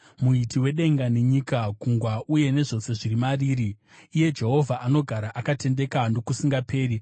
Muiti wedenga nenyika, gungwa uye nezvose zviri mariri, iye Jehovha, anogara akatendeka nokusingaperi.